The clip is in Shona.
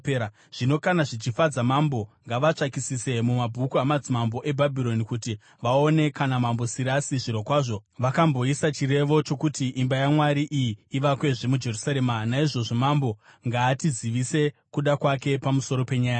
“Zvino kana zvichifadza mambo, ngavatsvakisise mumabhuku amadzimambo eBhabhironi kuti vaone kana Mambo Sirasi zvirokwazvo vakamboisa chirevo chokuti imba yaMwari iyi ivakwezve muJerusarema. Naizvozvo mambo ngaatizivise kuda kwake pamusoro penyaya iyi.”